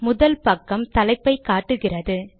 முதல் பக்கம் தலைப்பை காட்டுகிறது